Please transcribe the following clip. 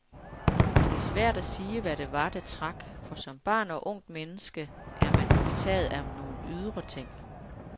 Det er svært at sige, hvad det var, der trak, for som barn og ungt menneske er man jo tit betaget af nogle ydre ting.